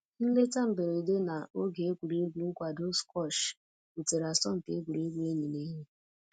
Nleta mberede na oge egwuregwu nkwado squash butere asọmpi egwuregwu enyi na enyi